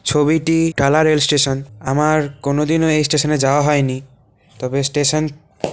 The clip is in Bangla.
ছবিটি ডালা রেল স্টেশন আমারকোনদিনও স্টেশন -এ যাওয়া হয়নি তবে স্টেশন --